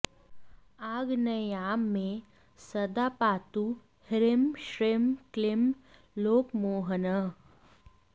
आग्नेय्यां मे सदा पातु ह्रीँ श्रीँ क्लीँ लोकमोहनः